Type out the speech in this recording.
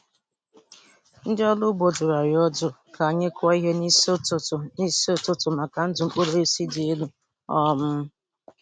Ndị ọrụ ugbo dụrụ anyị ọdụ ka anyị kụọ ihe n'isi ụtụtụ n'isi ụtụtụ maka ndụ mkpụrụ osisi dị elu. um